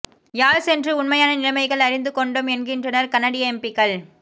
யாழ் சென்று உண்மையான நிலைமைகள் அறிந்து கொண்டோம் என்கின்றனர் கனடிய எம்பிக்கள்